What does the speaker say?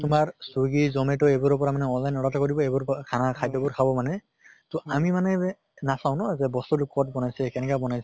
তোমাৰ Swiggy Zomato এইবোৰৰ পৰা মানে online order কৰিব এইবোৰ পা খানা খাদ্য়বোৰ খাব মানে। তʼ আমি মানে নাচাও ন যে বস্তুটো কʼত বনাইছে, কেনেকে বনাই